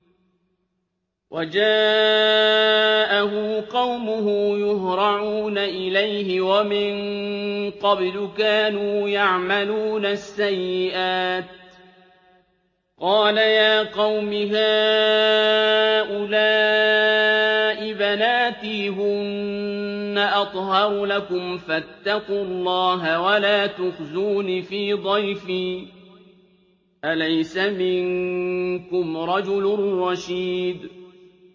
وَجَاءَهُ قَوْمُهُ يُهْرَعُونَ إِلَيْهِ وَمِن قَبْلُ كَانُوا يَعْمَلُونَ السَّيِّئَاتِ ۚ قَالَ يَا قَوْمِ هَٰؤُلَاءِ بَنَاتِي هُنَّ أَطْهَرُ لَكُمْ ۖ فَاتَّقُوا اللَّهَ وَلَا تُخْزُونِ فِي ضَيْفِي ۖ أَلَيْسَ مِنكُمْ رَجُلٌ رَّشِيدٌ